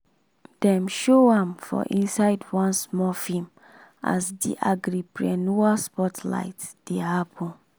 dem show am for inside one small film as di agripreneur spotlight dey happen.